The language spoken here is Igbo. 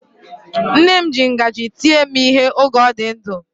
Nne m ji ngaji tie m ihe oge ọ dị ndụ.